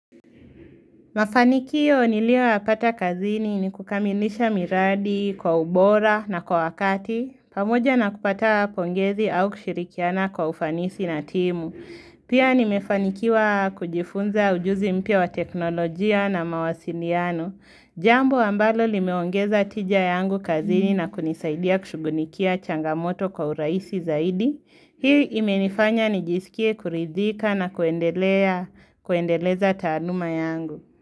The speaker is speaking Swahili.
Mafanikio nilioyapata kazini ni kukamilisha miradi, kwa ubora na kwa wakati, pamoja na kupata pongezi au kushirikiana kwa ufanisi na timu. Pia nimefanikiwa kujifunza ujuzi mpya wa teknolojia na mawasiliano. Jambo ambalo limeongeza tija yangu kazini na kunisaidia kushugulikia changamoto kwa urahisi zaidi. Hii imenifanya nijisikie kuridhika na kuendeleza taaluma yangu.